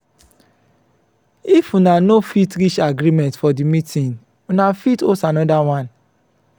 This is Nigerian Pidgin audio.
if una no fit reach agreement for di meeting una fit host anoda one